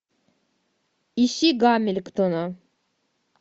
ищи гамильтона